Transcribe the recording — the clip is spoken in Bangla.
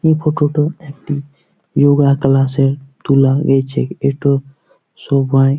এই ফটো -টা একটি ইয়োগা ক্লাস -এর তোলা হয়েছে। এটো সবাই--